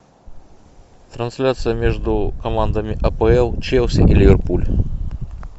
трансляция между командами апл челси и ливерпуль